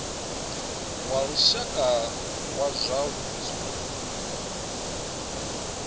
wa lushaka wa zwa vhudzulo